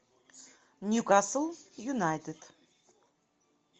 ньюкасл юнайтед